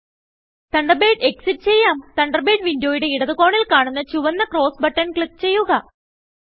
Thunderbird exit ചെയ്യാം Thunderbird വിൻഡോയുടെ ഇടത് കോണിൽ കാണുന്ന ചുവന്ന ക്രോസ് ബട്ടൺ ക്ലിക്ക് ചെയ്യുക